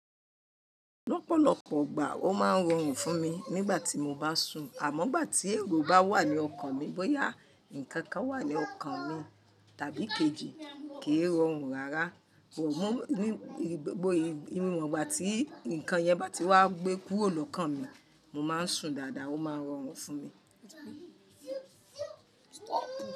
Lọ́pọ̀lọ́pọ̀ ígbà o máa ń rọrùn fún mi nígbà tí mo bá sùn àmọ́ gbà tí èrò bá wà ní ọkàn mi bóyá nǹkan kan wà ní ọkàn mi tàbí kejì kì í rọrùn rárá. Wọ̀ mú nígbà tí nǹkan yẹn bá ti wá gbé kúrò lọ́kàn mi, mo máa ń sùn dáadáa ó máa ń rọrùn fún mi.